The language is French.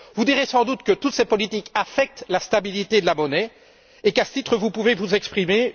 Vous direz sans doute que toutes ces politiques affectent la stabilité de la monnaie et qu'à ce titre, vous pouvez vous exprimer.